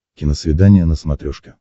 киносвидание на смотрешке